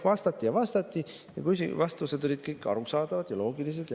Vastati ja vastati ja vastused olid kõik arusaadavad ja loogilised.